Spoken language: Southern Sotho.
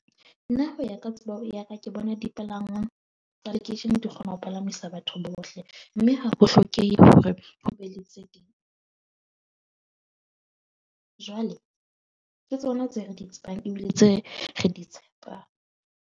Nna ho ya ka tsebo ya ka ke bona dipalangwang tsa lekeishene di kgona ho palamisa batho bohle. Mme ha ho hlokehe hore ho be le tse ding. Jwale ke tsona tse re di tsebang ebile tse re di tshepang.